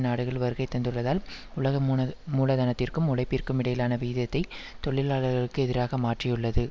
நாடுகள் வருகைதந்துள்ளதால் உலக மூன மூலதனத்திற்கும் உழைப்பிற்கும் இடையிலான விகிதத்தை தொழிலாளகளுக்கு எதிராக மாற்றியுள்ளது